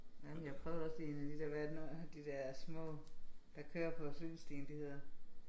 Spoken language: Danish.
Jamen jeg prøvede også lige en af de der hvad er det nu de der små der kører på cykelstien de hedder